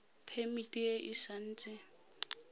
phemiti e e sa nt